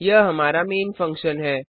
यह हमारा main function है